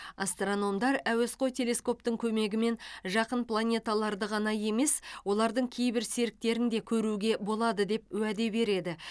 астрономдар әуесқой телескоптың көмегімен жақын планеталарды ғана емес олардың кейбір серіктерін де көруге болады деп уәде береді